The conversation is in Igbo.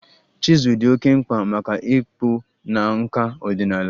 Chizul dị oké mkpa maka ịkpụ na nkà ọdịnala